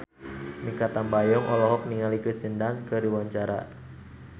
Mikha Tambayong olohok ningali Kirsten Dunst keur diwawancara